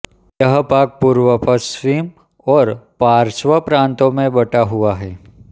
यह भाग पूर्व पश्चिम और पार्श्व प्रांतों में बँटा हुआ है